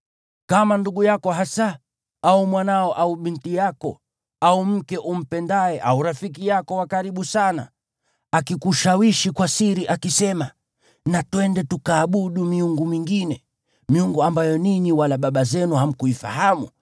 Kama ndugu yako hasa, au mwanao au binti yako, au mke umpendaye, au rafiki yako wa karibu sana akikushawishi kwa siri, akisema, “Na twende tukaabudu miungu mingine” (miungu ambayo ninyi wala baba zenu hamkuifahamu,